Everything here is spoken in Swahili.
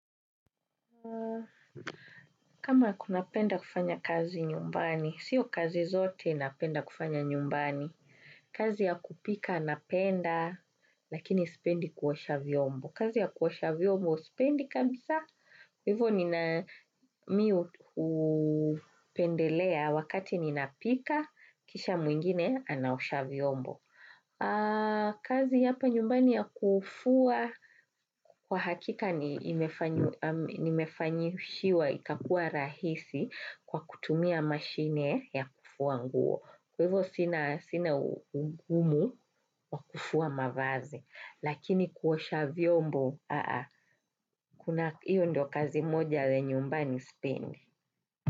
Kama unapenda kufanya kazi nyumbani, siyo kazi zote napenda kufanya nyumbani. Kazi ya kupika, napenda, lakini spendi kuosha vyombo. Kazi ya kuosha vyombo, sipendi kabisa. Hivo nina mimi hupendelea wakati nina pika, kisha mwingine, anaosha vyombo. Kazi hapa nyumbani ya kufua, kwa hakika nimefanyishiwa, ikakua rahisi kwa kutumia mashine ya kufua nguo. Kwa hivyo sina ugumu wa kufua mavazi. Lakini kuosha vyombo, kuna hivyo ndio kazi moja ya nyumbani sipendi.